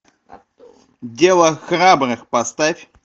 дело храбрых поставь